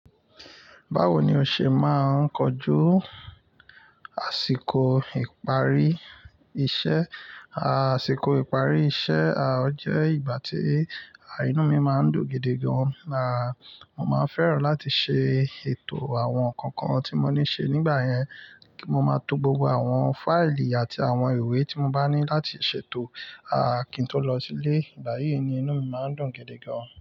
Báwo ni o ṣe máa ń kojú àsìkò ìparí iṣẹ́? Àsìkò ìparí iṣẹ́ o jẹ́ ìgbà tí inú mi máa ń dùn gidi gan. Mo máa ń fẹ́ràn láti ṣe ètò àwọn nǹkan kan tí mo ní ṣe nígbà yẹn. Kí mo máa to gbogbo àwọn fáìlì àti àwọn ìwé tí mo bá ní láti ṣètò kí n tó lọ sílé. Ìgbà yí ni inú mi máa ń dùn gidi gan.